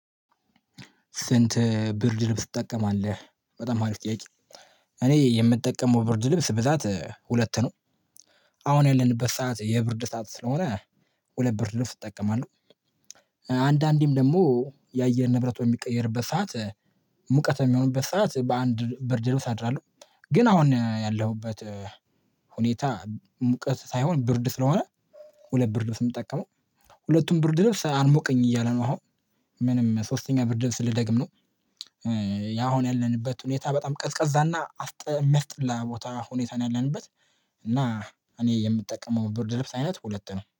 ስንት ብርድ ልብስ ትጠቀማለህ? በጣም አሪፍ ጥያቄ እኔ የምጠቀመው ብርድ ልብስ ብዛት ሁለት ነው። አሁን ያለንበት ሰዓት የብርድ ሰዓት ስለሆነ ሁለት ብርድ ልብስ እጠቀማለሁ። አንዳንዴም ደግሞ የአየር ንብረት በሚቀየርበት ሰዓት ሙቀት በሚሆንበት ሰዓት በአንድ ብርድ ልብስ አድራለሁ። ግን አሁን ያለሁበት ሁኔታ ሙቀት ሳይሆን ብርድ ስለሆነ ሁለት ብርድ ውስጥ የምጠቀመው ሁለቱም ብርድ ድረስ አርሞቀኝ እያለ ነው። አሁን ምንም ሶስተኛ ብርድ ስል ደግም ነው። ያሁን ያለንበት ሁኔታ በጣም ቀዝቀዛና የሚያስጠላ ቦታ ሁኔታ ነው ያለንበት። እና እኔ የምጠቀመው ብርድ ልብስ አይነት ሁለት ነው